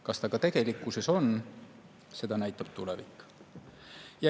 Kas ta ka tegelikkuses on, seda näitab tulevik.